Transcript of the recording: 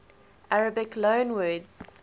arabic loanwords